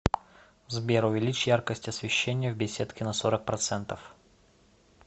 сбер увеличь яркость освещения в беседке на сорок процентов